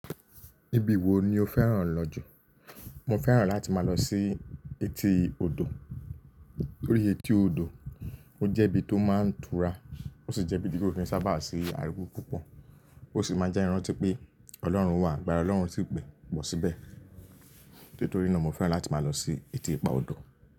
Ibi wo ni o fẹ́ràn lọ jù? Mo fẹ́ràn láti máa lọ sí etí odò. Tórí etí odò, ó jẹ́ ibi tó máa ń tura, ó sì jẹ́ ibi tí o sábà á sí aruwo púpọ̀. Ó sì máa jẹ́ iran tí pé Ọlọ́run wà, àgbára Ọlọ́run sì pọ̀ síbẹ̀. Nítorí náà mo fẹ́ràn láti máa lọ sí etí ipa odò.